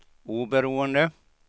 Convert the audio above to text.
oberoende